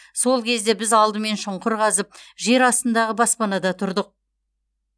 сол кезде біз алдымен шұңқыр қазып жер астындағы баспанада тұрдық